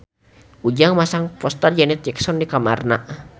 Ujang masang poster Janet Jackson di kamarna